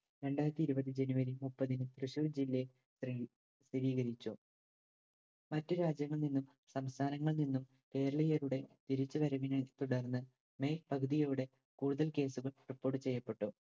രണ്ടായിരത്തി ഇരുപത് ജനുവരി മുപ്പതിന് തൃശൂർ ജില്ലയിൽ സ്ഥി സ്ഥിരീകരിച്ചു മറ്റു രാജ്യങ്ങളിൽ നിന്നും സംസ്ഥാനങ്ങളിൽ നിന്നും കേരളീയരുടെ തിരിച്ചുവരവിനെ തുടർന്ന് മെയ് പകുതിയോടെ കൂടുതൽ case കൾ report ചെയ്യപ്പെട്ടു.